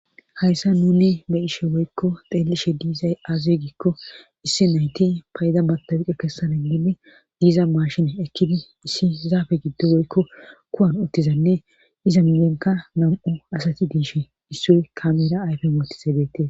hayssa nuni be ishe woykko xeelishe diizay aaze giikko issi nayti payida matawuqe kessana giidi diiza maashine ekkidi issi zaafe giddo woykko kuwan ottizanne iza miyenka nam7u asati diish issuy kamera ayfe mootise beette